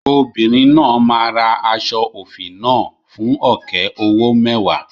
Obìnrin náà máa ra aṣọ òfì náà fún ọ̀kẹ́ owó mẹ́wàá.